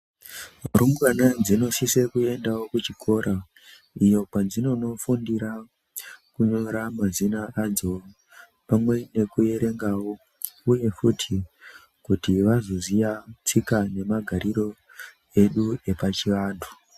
Rumbwana dzinosisa kuendawo kuchikora iyo kwadzinonofundira kunyora mazina adzo pamwe nekuerengawo uyewo futi kuti vazoziya tsika nemagariro edu epachivantu.